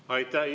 Aitäh!